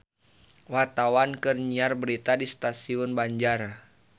Wartawan keur nyiar berita di Stasiun Banjar